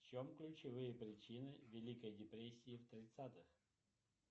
в чем ключевые причины великой депрессии в тридцатых